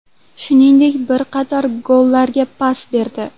Shuningdek, bir qator gollarga pas berdi.